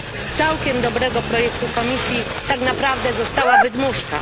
Z całkiem dobrego projektu Komisji tak naprawdę została wydmuszka.